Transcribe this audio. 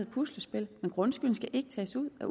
puslespil og grundskylden skal ikke tages ud af